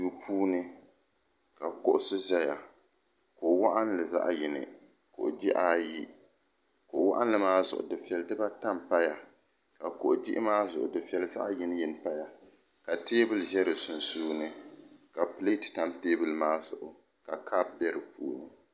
Duu puuni ka kuɣusi zaya kuɣu waɣinli zaɣa yini kuɣu jihi ayi kuɣu waɣinli maa zuɣu dufeya dibaata m paya ka kuɣu jihi maa zuɣu dufeli zaɣa yini yini paya ka teebuli ʒɛ di sunsuuni ka pileti tam teebuli maa zuɣu ka kopu be dipuuni.